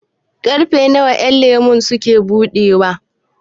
ƙarfe nawa ƴanlemo suke buɗewa?